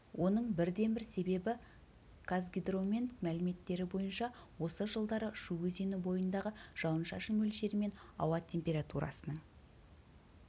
оның бірден-бір себебі қазгидромет мәліметтері бойынша осы жылдары шу өзені бойындағы жауын-шашын мөлшері мен ауа температурасының